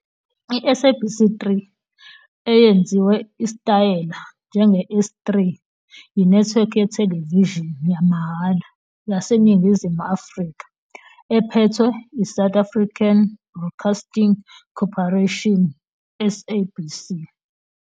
I-SABC 3, eyenziwe isitayela njenge-S3, yinethiwekhi yethelevishini yamahhala yaseNingizimu Afrika ephethwe yiSouth African Broadcasting Corporation, SABC.